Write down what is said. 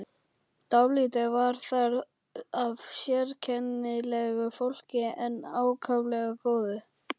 Dálítið var þar af sérkennilegu fólki en ákaflega góðu.